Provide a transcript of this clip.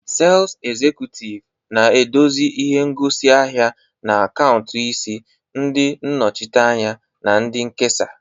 Sales Executive na-eduzi ihe ngosi ahịa na akaụntụ isi, ndị nnọchiteanya na ndị nkesa